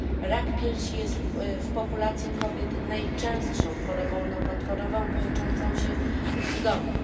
Rak piersi jest w populacji kobiet najczęstszą chorobą nowotworową kończącą się zgonem.